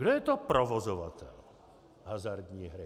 Kdo je to provozovatel hazardní hry?